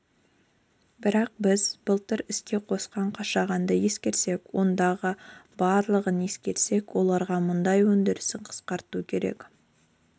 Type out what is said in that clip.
бірақ біз былтыр іске қосқан қашағанды ескерсек ондағы барлығын ескерсек оларға мұнай өндірісін қысқарту керек деп